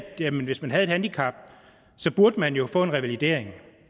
hvis man havde et handicap burde man jo få en revalidering